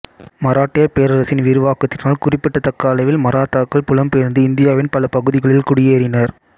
மராட்டியப் பேரரசின் விரிவாக்கத்தினால் குறிப்பிடத்தக்க அளவில் மராத்தாக்கள் புலம்பெயர்ந்து இந்தியாவின் பல பகுதிகளில் குடியேறினர்